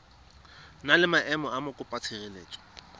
na le maemo a mokopatshireletso